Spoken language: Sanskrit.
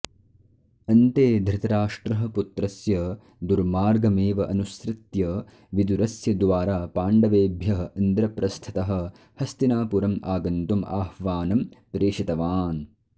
अन्ते धृतराष्ट्रः पुत्रस्य दुर्मार्गमेव अनुसृत्य विदुरस्य द्वारा पाण्डवेभ्यः इन्द्रप्रस्थतः हस्तिनापुरम् आगन्तुम् आह्वानं प्रेषितवान्